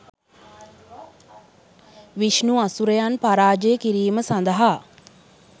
විෂ්ණු අසුරයන් පරාජය කිරීම සදහා